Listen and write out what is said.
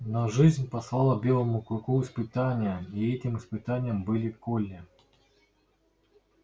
но жизнь послала белому клыку испытание и этим испытанием была колли